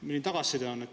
Milline tagasiside on?